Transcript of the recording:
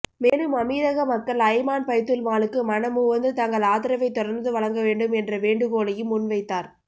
மேலும் அமீரக மக்கள் அய்மான் பைத்துல் மாலுக்கு மனமுவந்து தங்கள் ஆதரவை தொடர்ந்து வழங்க வேண்டும் என்ற வேண்டுகோளையும் முன்வைத்தார்